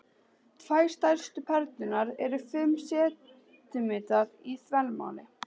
Tvær stærstu perlurnar eru fimm sentímetrar í þvermál.